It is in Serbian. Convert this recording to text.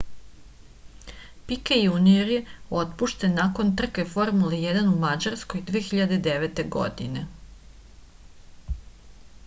pike junior je otpušten nakon trke formule 1 u mađarskoj 2009. godine